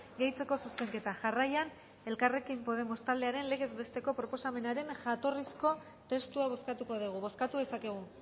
gehitzeko zuzenketa jarraian elkarrekin podemos taldearen legez besteko proposamenaren jatorrizko testua bozkatuko dugu bozkatu dezakegu